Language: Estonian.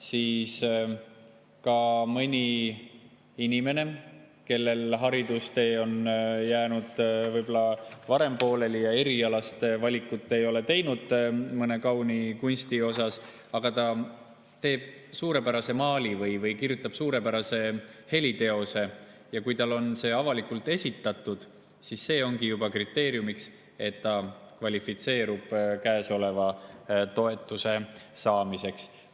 kui mõnel inimesel on haridustee jäänud võib-olla varem pooleli ja ta ei ole teinud erialast valikut mõne kauni kunsti suhtes, aga ta teeb suurepärase maali või kirjutab suurepärase heliteose ja see on avalikult esitatud, siis see ongi juba kriteerium, et ta kvalifitseerub toetuse saamiseks.